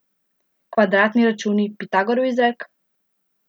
Kvadratni računi, Pitagorov izrek?